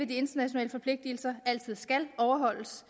de internationale forpligtelser altid skal overholdes